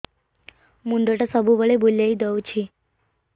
ମୁଣ୍ଡଟା ସବୁବେଳେ ବୁଲେଇ ଦଉଛି